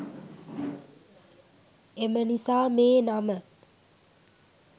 එම නිසා මේ නම